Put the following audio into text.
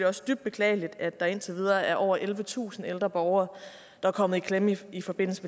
også dybt beklageligt at der indtil videre er over ellevetusind ældre borgere der er kommet i klemme i forbindelse